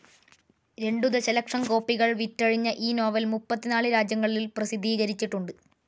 രണ്ടു ദശലക്ഷം കോപ്പികൾ വിറ്റഴിഞ്ഞ ഈ നോവൽ മുപ്പത്തിനാല് രാജ്യങ്ങളിൽ പ്രസിദ്ധീകരിച്ചിട്ടുണ്ട്.